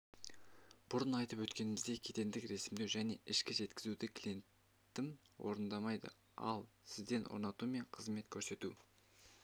бұрын айтып өткеніміздей кедендік ресімдеу және ішкі жеткізуді клиентім орындайды ал сізден орнату мен қызмет көрсету